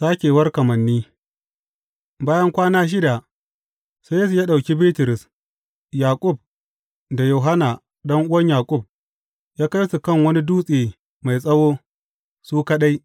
Sākewar kamanni Bayan kwana shida, sai Yesu ya ɗauki Bitrus, Yaƙub da Yohanna ɗan’uwan Yaƙub, ya kai su kan wani dutse mai tsawo, su kaɗai.